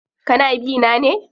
Kana bi na ne?